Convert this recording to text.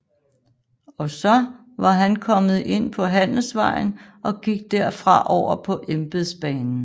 Også var han kommet ind på handelsvejen og gik der fra over på embedsbanen